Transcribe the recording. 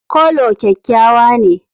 Coulor kyakkyawa ne.